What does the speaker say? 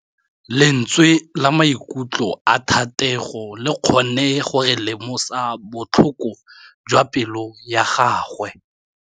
Lentswe la maikutlo a Thategô le kgonne gore re lemosa botlhoko jwa pelô ya gagwe.